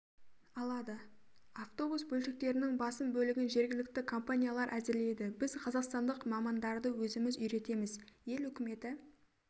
алады авобус бөлшектерінің басым бөлігін жергілікті компаниялар әзірлейді біз қазақстандық мамандарды өзіміз үйретеміз ел үкіметі